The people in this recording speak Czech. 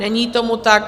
Není tomu tak.